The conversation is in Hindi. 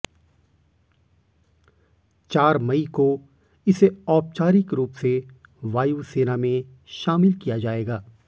चार मई को इसे औपचारिक रूप से वायुसेना में शामिल किया जाएगा